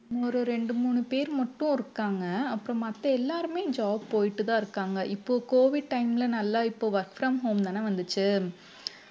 ஒரு ரெண்டு மூணு பேர் மட்டும் இருக்காங்க அப்புறம் மத்த எல்லாருமே job போயிட்டுதான் இருக்காங்க இப்போ covid time ல நல்லா இப்போ work from home தானே வந்துச்சு